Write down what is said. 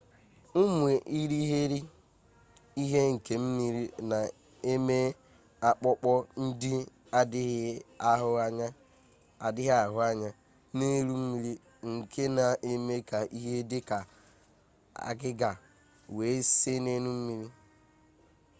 ụmụ irighiri ihe nke mmiri na-eme akpụkpọ na-adịghị ahụ anya n'elu mmiri nke na-eme ka ihe dị ka agịga wee see n'elu mmiri